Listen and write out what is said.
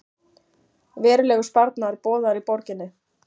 Verulegur sparnaður boðaður í borginni